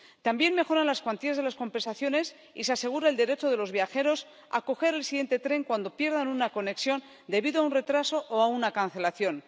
También mejoran las cuantías de las compensaciones y se asegura el derecho de los viajeros a coger el siguiente tren cuando pierdan una conexión debido a un retraso o a una cancelación.